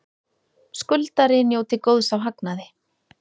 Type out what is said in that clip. Skuldari njóti góðs af hagnaði